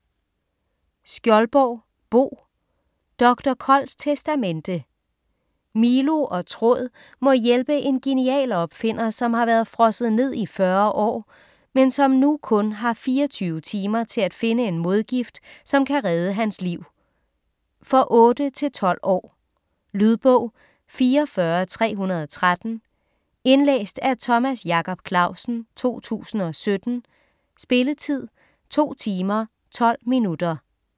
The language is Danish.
Skjoldborg, Bo: Doktor Kolds testamente Milo og Tråd må hjælpe en genial opfinder som har været frosset ned i 40 år, men som nu kun har 24 timer til at finde en modgift som kan redde hans liv. For 8-12 år. Lydbog 44313 Indlæst af Thomas Jacob Clausen, 2017. Spilletid: 2 timer, 12 minutter.